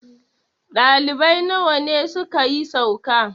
ɗalibai nawa ne suka yi sauka?